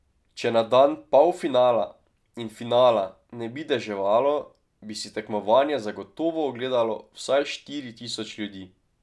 Če na dan polfinala in finala ne bi deževalo, bi si tekmovanje zagotovo ogledalo vsaj štiri tisoč ljudi.